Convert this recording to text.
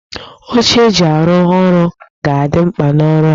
Oche eji arụ ọrụ ga-adị mkpa n'ọrụ a